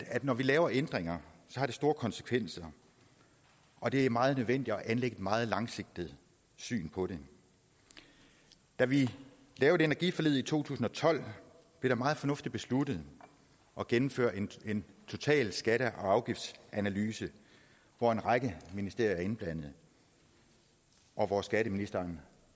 at når vi laver ændringer har det store konsekvenser og det er meget nødvendigt at anlægge et meget langsigtet syn på det da vi lavede energiforliget i to tusind og tolv blev det meget fornuftigt besluttet at gennemføre en total skatte og afgiftsanalyse hvor en række ministerier er indblandet og hvor skatteministeren